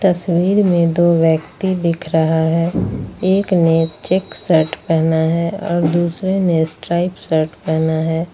तस्वीर में दो व्यक्ति दिख रहा है एक ने चेक शर्ट पहना है और दूसरे ने स्ट्राइप शर्ट पहना है।